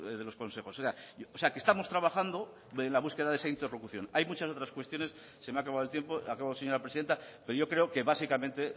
de los consejos o sea que estamos trabajando en la búsqueda de esa interlocución hay muchas otras cuestiones se me ha acabado el tiempo acabo señora presidenta pero yo creo que básicamente